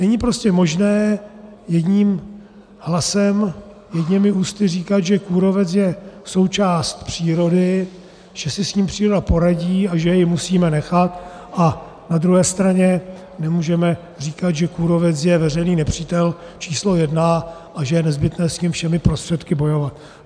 Není prostě možné jedním hlasem, jedněmi ústy říkat, že kůrovec je součást přírody, že si s ním příroda poradí a že jej musíme nechat, a na druhé straně nemůžeme říkat, že kůrovec je veřejný nepřítel číslo jedna a že je nezbytné s ním všemi prostředky bojovat.